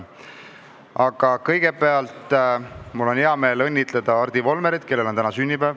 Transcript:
Aga kõigepealt on mul hea meel õnnitleda Hardi Volmerit, kellel on täna sünnipäev.